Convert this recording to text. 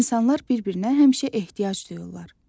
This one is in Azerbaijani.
İnsanlar bir-birinə həmişə ehtiyac duyurlar.